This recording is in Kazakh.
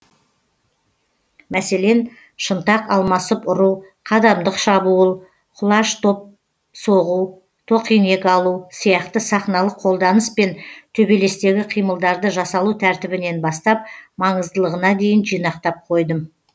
мәселен шынтақ алмасып ұру қадамдық шабуыл құлаш топ соғу тоқинек алу сияқты сахналық қолданыс пен төбелестегі қимылдарды жасалу тәртібінен бастап маңыздылығына дейін жинақтап қойдым